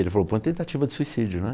Ele falou, põe tentativa de suicídio, né?